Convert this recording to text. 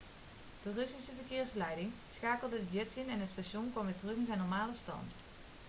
de russische verkeersleiding schakelde de jets in en het station kwam weer terug in zijn normale stand